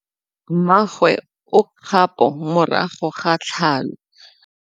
Mmagwe o kgapô morago ga tlhalô.